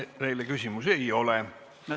Teile rohkem küsimusi ei ole.